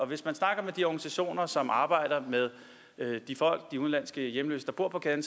hvis man snakker med de organisationer som arbejder med de udenlandske hjemløse der bor på gaden